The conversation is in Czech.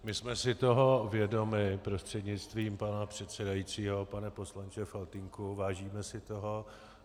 My jsme si toho vědomi, prostřednictvím pana předsedajícího pane poslanče Faltýnku, vážíme si toho.